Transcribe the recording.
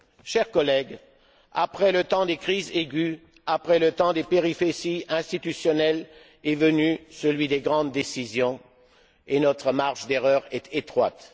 Chers collègues, après le temps des crises aiguës, après le temps des péripéties institutionnelles est venu celui des grandes décisions, et notre marge d'erreur est étroite.